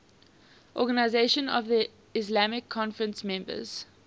organisation of the islamic conference members